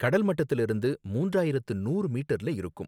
கடல் மட்டத்துல இருந்து மூன்றாயிரத்து நூறு மீட்டர்ல இருக்கும்